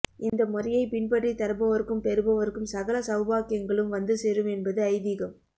இந்த முறையைப் பின் பற்றி தருபவருக்கும் பெறுபவருக்கும் சகல சௌபாக்கியங்களும் வந்து சேரும் என்பது ஐதீகம்